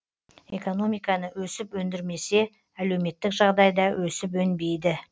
экономиканы өсіп өндірмесе әлеуметтік жағдай да өсіп өнбейді